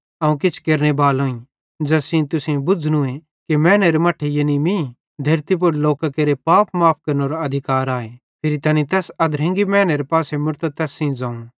अवं किछ केरनेबालोईं ज़ैस सेइं तुसेईं बुज़्झ़नूए कि मैनेरे मट्ठे यानी मीं धेरती पुड़ लोकां केरे पाप माफ़ केरनेरो अधिकार आए फिरी तैनी तैस अधरंगी मैनेरे पासे मुड़तां तैस सेइं ज़ोवं